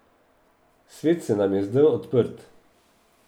Svet se nam je zdel odprt.